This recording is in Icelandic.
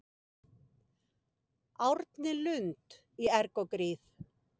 Árni Lund í erg og gríð